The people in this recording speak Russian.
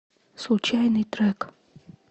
случайный трек